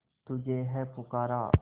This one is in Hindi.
तुझे है पुकारा